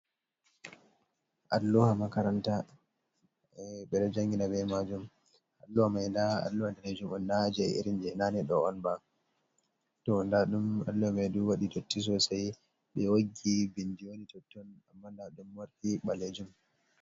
Alluha makaranta ɓe ɗo jangina be majum, alluha mai nda alluha danejum on, nda jee irin je nane do’on ba, to nda ɗum alluha mai ɗo waɗi dotti sosai ɓe woggi bindi wani totton, amma nda ɗum mari ɓalejum.